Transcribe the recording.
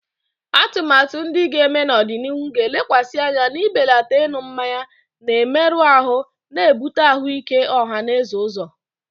Atụmatụ ndị ga-eme n'ọdịnihu ga-elekwasị anya n'ibelata ịṅụ mmanya na-emerụ ahụ, na-ebute ahụike ọha na eze ụzọ.